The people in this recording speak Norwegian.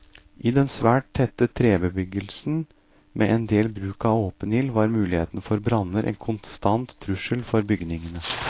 I den svært tette trebebyggelsen med en del bruk av åpen ild var muligheten for branner en konstant trussel for bygningene.